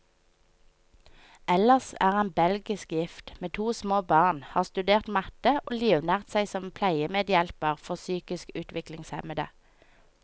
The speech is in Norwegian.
Ellers er han belgisk gift, med to små barn, har studert matte, og livnært seg som pleiemedhjelper for psykisk utviklingshemmede.